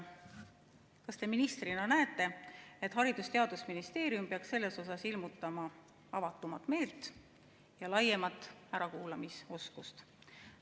Kas te ministrina näete, et Haridus- ja Teadusministeerium peaks ilmutama siin avatumat meelt ja laiemat ärakuulamisoskust?